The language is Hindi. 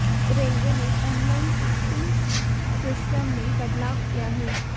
रेलवे ने ऑनलाइन टिकटिंग सिस्टम में बदलाव किया है